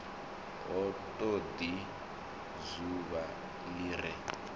ha todi dzuvha li re